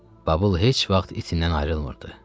Babıl heç vaxt itindən ayrılmırdı.